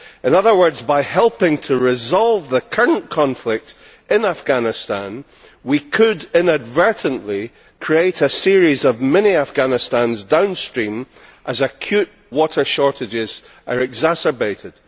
In other words, by helping to resolve the current conflict in Afghanistan, we could inadvertently create a series of mini Afghanistans downstream as acute water shortages are exacerbated.